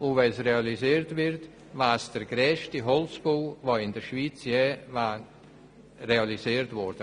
Sollte er realisiert werden, wäre es der grösste Holzbau, der in der Schweiz je gebaut wurde.